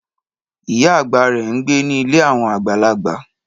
Ìyá àgbà rẹ̀ ń gbé ní ilé àwọn àgbàlagbà